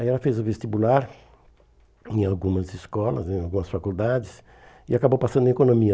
Aí ela fez o vestibular em algumas escolas, em algumas faculdades, e acabou passando em economia.